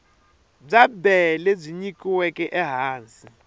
bya bee lebyi nyikiweke ehansi